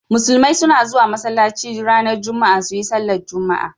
Musulmai suna zuwa masallaci ranar Juma'a su yi sallar jumu'a.